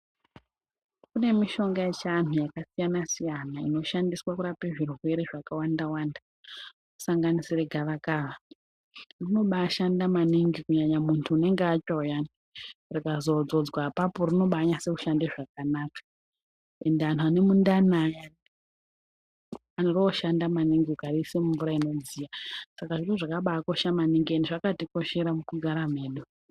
Kune mishonga yechianhu yakasiyana siyana inoshandiswa kurape zvirwere zvakawanda wanda kusanganisire gava kava. Rinobashanda maningi kunyanya muntu unenge atsva uyani, rikazodzodzwa apapo, rinobanyase kushande zvakanaka. Ende anhu ane mindani ayani, roshanda maningi ukariise mumvura inodziya. Saka ndozvakabakosha maningi ende zvakatikoshera mukugara medu.